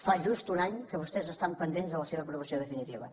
fa just un any que vostès estan pendents de la seva aprovació definitiva